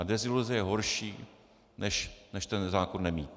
A deziluze je horší, než ten zákon nemít.